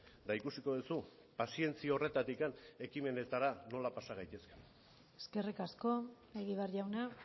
eta ikusiko duzu pazientzia horretatik ekimenetara nola pasa gaitezen eskerrik asko egibar jauna